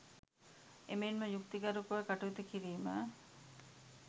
එමෙන්ම යුක්ති ගරුකව කටයුතු කිරීම